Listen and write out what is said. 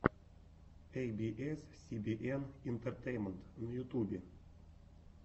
эй би эс си би эн интертеймент на ютубе